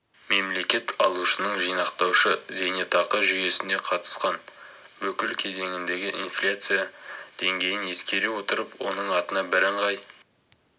мемлекет алушының жинақтаушы зейнетақы жүйесіне қатысқан бүкіл кезеңіндегі инфляция деңгейін ескере отырып оның атына бірыңғай